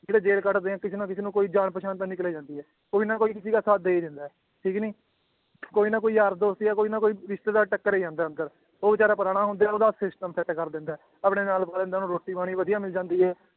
ਜਿਹੜੇ ਜੇਲ੍ਹ ਕੱਟਦੇ ਹੈ ਕਿਸੇ ਨਾ ਕਿਸੇ ਨੂੰ ਕੋਈ ਜਾਣ ਪਛਾਣ ਤਾਂ ਨਿਕਲ ਆਉਂਦੀ ਹੈ, ਕੋਈ ਨਾ ਕੋਈ ਕਿਸੇ ਦਾ ਸਾਥ ਦੇ ਹੀ ਦਿੰਦਾ ਹੈ ਠੀਕ ਨੀ ਕੋਈ ਨਾ ਕੋਈ ਯਾਰ ਦੋਸਤ ਜਾਂ ਕੋਈ ਨਾ ਕੋਈ ਰਿਸਤੇਦਾਰ ਟੱਕਰ ਹੀ ਜਾਂਦਾ ਹੈ ਅੰਦਰ ਉਹ ਬੇਚਾਰਾ ਪੁਰਾਣਾ ਹੁੰਦੇ ਹੈ ਉਹਦਾ system ਕਰ ਦਿੰਦਾ ਹੈ, ਆਪਣੇ ਨਾਲ ਪਾ ਲੈਂਦਾ ਉਹਨੂੰ ਰੋਟੀ ਪਾਣੀ ਵਧੀਆ ਮਿਲੀ ਜਾਂਦੀ ਹੈ